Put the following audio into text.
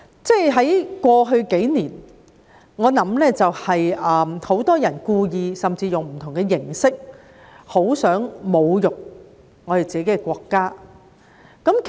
在過去數年，很多人故意甚至用不同的形式來侮辱自己的國家。